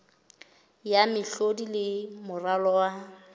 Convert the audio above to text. ya mehlodi le moralo wa